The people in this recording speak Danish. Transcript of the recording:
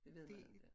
Det ved man ikke